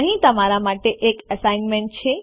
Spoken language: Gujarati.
અહીં તમારા માટે એક એસાઈનમેન્ટ છે